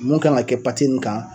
Nun kan ŋa kɛ pate n kan